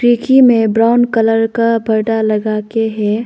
खिड़की में brown colour का पर्दा लगा के है।